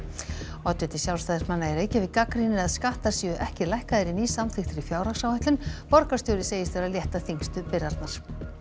oddviti Sjálfstæðismanna í Reykjavík gagnrýnir að skattar séu ekki lækkaðir í nýsamþykktri fjárhagsáætlun borgarstjóri segist vera að létta þyngstu byrðarnar